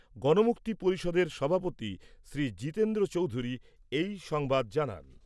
গণমুক্তি পরিষদের সভাপতি জিতেন্দ্র চৌধুরি এই সংবাদ জানান।